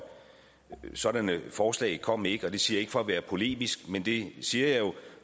sådanne forslag kom ikke og det siger jeg ikke for at være polemisk men det siger jeg jo